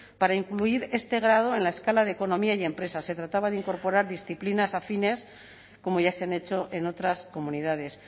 para incluir este grado en la escala de economía y empresa se trataba de incorporar disciplinas afines como ya se han hecho en otras comunidades